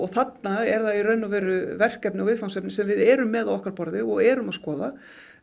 þarna er verkefni og viðfangsefni sem við erum með á okkar borði og erum að skoða